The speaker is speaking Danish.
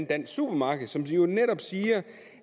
dansk supermarked som netop siger